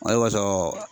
Ale kɔsɔɔ